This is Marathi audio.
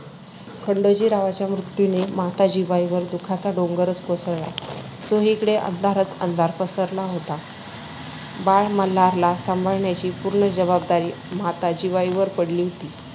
खंडोजीरावांच्या मृत्यूने माता जिवाईवर दुखाचा डोंगरच कोसळला. चोहीकडे अंधारच अंधार पसरला होता. बाळ मल्हारला सांभाळण्याची पूर्ण जबाबदारी माता जिवाईवर पडली होती.